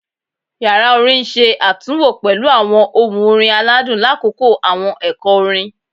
Yara orin n ṣe atunwo pẹlu awọn ohun orin aladun lakoko awọn ẹkọ orin